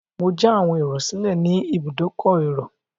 Mo já àwọn ẹrò sílẹ̀ ní ibùdókọ̀ èrò.